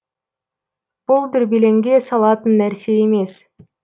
бұл дүрбелеңге салатын нәрсе емес